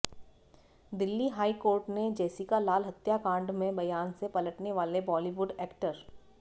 Delhi high court ने Jessica Lal हत्याकांड में बयान से पलटने वाले बॉलिवुड ऐक्टर